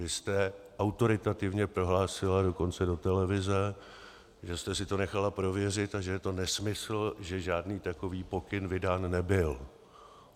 Vy jste autoritativně prohlásila dokonce do televize, že jste si to nechala prověřit a že je to nesmysl, že žádný takový pokyn vydán nebyl.